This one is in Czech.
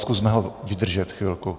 Zkusme ho vydržet chvilku.